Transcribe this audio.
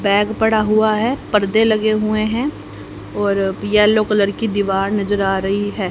Bag पड़ा हुआ है पर्दे लगे हुए हैं और येलो कलर की दीवार नजर आ रही है।